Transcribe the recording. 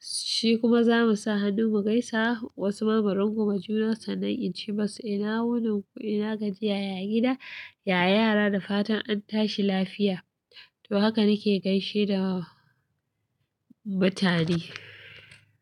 shi kuma za mu sa hannu mu gaisa, wasu ma mu rungume juna sannan in ce musu ina wurin ku, ina gajiya, ya gida, ya yara da fatan an tashi lafiya. To haka nake gaishe da mutane.